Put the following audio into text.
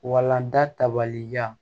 Walanda tabaliya